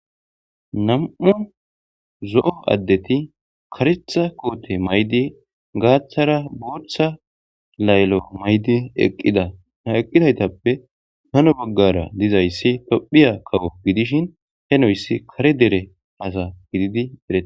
Nam7u zo7o addeti karectha koote maydi gaaththara booththa layllo maydi eqqida ha eqqidaytappe hano boggara dizayssi tophiya kawo gidishin he noyssi kare dere asa gididi edreete